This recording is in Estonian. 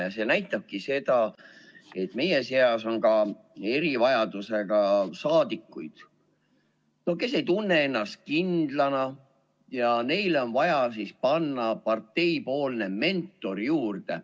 Ja see näitabki seda, et meie seas on ka erivajadusega saadikuid, kes ei tunne ennast kindlana, ja neile on vaja panna partei mentor juurde.